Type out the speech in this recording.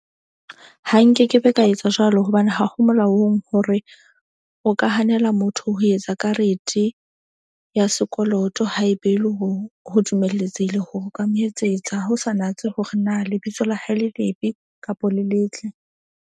Ha nkekebe ka etsa jwalo hobane ha ho molaong hore o ka hanela motho. Ho etsa karete ya sekoloto haebe e le ho dumeletsehile, ho ka mo etsetsa ho sa natse hore na lebitso la hae le lebe kapo le letle.